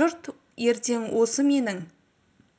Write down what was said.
жұрт ертең осы менің